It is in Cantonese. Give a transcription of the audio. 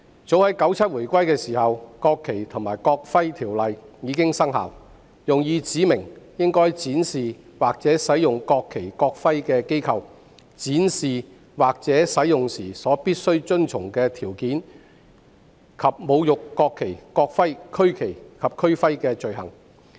早在1997年回歸時，《國旗及國徽條例》已經生效，用以指明應該展示或使用國旗及國徽的機構、展示或使用國旗及國徽時必須遵循的條件，以及侮辱國旗及國徽和區旗及區徽的罪行。